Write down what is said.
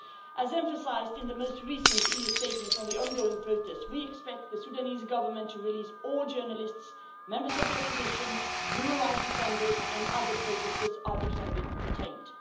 As emphasised in the most recent EU statements on the ongoing protests, we expect the Sudanese Government to release all journalists, members of the Opposition, human rights defenders and other protesters arbitrarily detained.